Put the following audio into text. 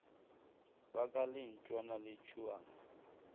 ba ka lentšwana le tšhuana